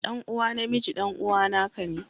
Ɗan uwa na miji ɗan'uwana ka ne.